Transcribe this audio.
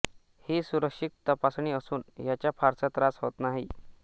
ही सुरक्षित तपासणी असून याचा फारसा त्रास होत नाही